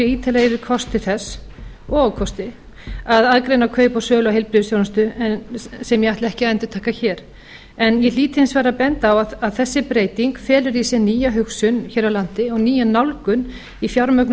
ítarlega yfir kosti þess og ókosti að aðgreina kaup og sölu á heilbrigðisþjónustu sem ég ætla ekki að endurtaka hér ég hlýt hins vegar að benda á að þessi breyting felur í sér nýja hugsun hér á landi og nýja nálgun í fjármögnun